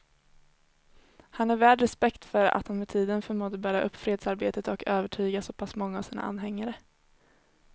Han är värd respekt för att han med tiden förmådde bära upp fredsarbetet och övertyga så pass många av sina anhängare.